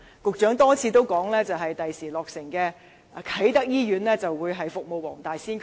局長多次表示，將來落成的啟德醫院，將會服務黃大仙區。